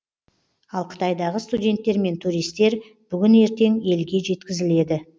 ал қытайдағы студенттер мен туристер бүгін ертең елге жеткізіледі